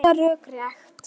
Að reyna að hugsa rökrétt